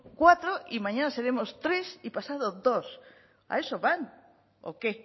cuatro y mañana seremos tres y pasados dos a eso van o qué